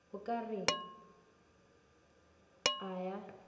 o ka re a a